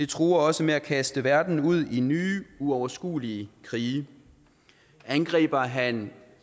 truer også med at kaste verden ud i nye uoverskuelige krige angriber han